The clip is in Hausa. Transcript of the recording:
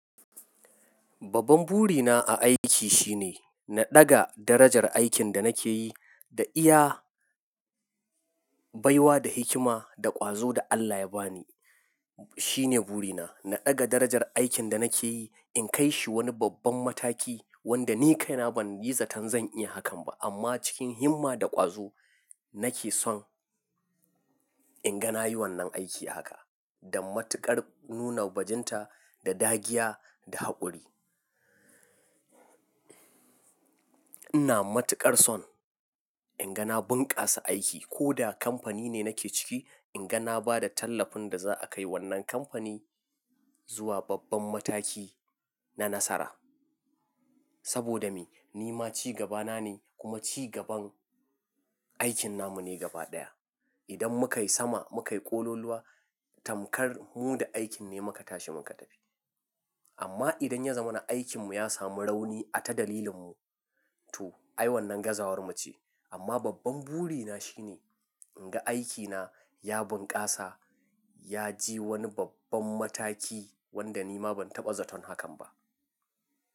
Babban burina a aiki shine na ɗaga darajar aikin da nake yi da iya baiwa da hikima da ƙwazo da Allah ya ba ni. Shine burina, na ɗaga darajar aikin da nake yi, in kai shi wani babban mataki wanda ni kaina ban yi zaton zan iya hakan ba. Amma cikin himma da ƙwazo nake son in ga na yi wannan aiki haka, da matuƙar nuna bajinta da dagiya da haƙori. Ina matuƙar son in ga na bunƙasa aiki ko da kamfani ne nake ciki, in ga na ba da tallafin da za'a kai wannan kamfani zuwa babban mataki na nasara. Saboda me? Ni ma cigabana ne kuma cigaban aikin namu ne gaba ɗaya. Idan muka yi sama, muka yi ƙololuwa, tamkar mu da aikin ne muka tashi muka tafi. Amma idan ya zama na aikinmu ya samu rauni, ata dalilinmu, to ai wannan gazawar mu ce. Amma babban burina shine in ga aikina ya bunƙasa, ya ji wani babban mataki wanda nima ban taɓa zaton hakan ba.